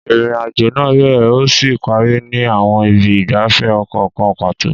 Ìrìn-àjò náà bẹ̀rẹ̀ ó sì parí ní àwọn ibi ìgbafẹ́ ọkọ̀ kan pàtó.